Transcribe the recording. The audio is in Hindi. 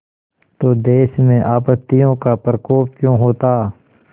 तो देश में आपत्तियों का प्रकोप क्यों होता